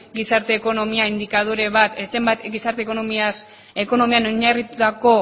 gizarte ekonomian oinarritutako